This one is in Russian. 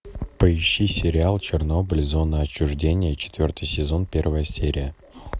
поищи сериал чернобыль зона отчуждения четвертый сезон первая серия